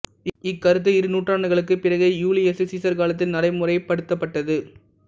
இக்கருத்து இரு நூற்றாண்டுகளுக்குப் பிறகே யூலியசு சீசர் காலத்தில் நடைமுறைப்படுத்தப்பட்டது